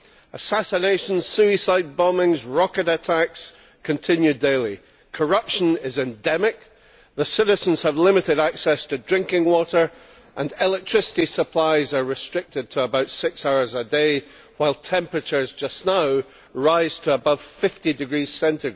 Assassinations, suicide bombings and rocket attacks continue daily. Corruption is endemic, the citizens have limited access to drinking water, and electricity supplies are restricted to about six hours a day, while temperatures just now rise to above 50°C.